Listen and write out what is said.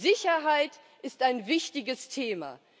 Sicherheit ist ein wichtiges Thema.